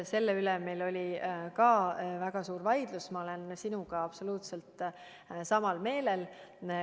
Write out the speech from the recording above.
Selle üle meil oli ka väga suur vaidlus ja ma olen sinuga absoluutselt ühel meelel.